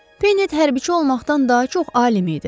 Penet hərbçi olmaqdan daha çox alim idi.